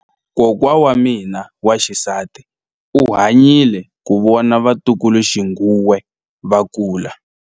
Kokwa wa mina wa xisati u hanyile ku vona vatukuluxinghuwe va kula.